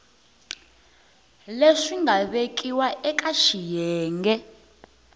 leswi nga vekiwa eka xiyenge